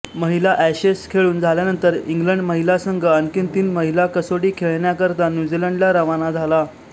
महिला एशेस खेळून झाल्यानंतर इंग्लंड महिला संघ आणखी तीन महिला कसोटी खेळण्याकरता न्यूझीलंडला रवाना झाला